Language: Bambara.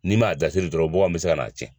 N'i m'a dasiri dɔrɔn bɔganw bɛ se ka n'a cɛn.